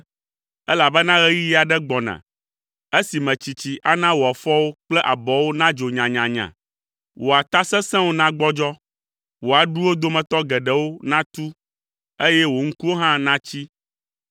elabena ɣeyiɣi aɖe gbɔna esime tsitsi ana wò afɔwo kple abɔwo nadzo nyanyanya, wò ata sesẽwo nagbɔdzɔ, wò aɖuwo dometɔ geɖewo natu eye wò ŋkuwo hã natsi